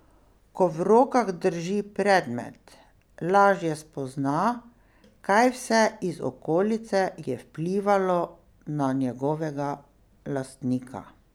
Ko v rokah drži predmet, lažje spozna, kaj vse iz okolice je vplivalo na njegovega lastnika.